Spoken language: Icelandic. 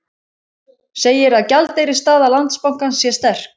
Segir að gjaldeyrisstaða Landsbankans sé sterk